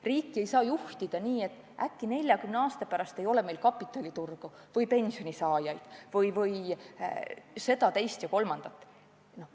Riiki ei saa juhtida eeldades, et äkki 40 aasta pärast ei ole meil kapitaliturgu või pensionisaajaid või seda, teist ja kolmandat.